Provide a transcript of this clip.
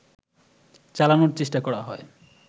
চালানোর চেষ্টা করা হয়